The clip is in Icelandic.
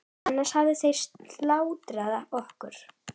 Annars hefðu þeir slátrað okkur.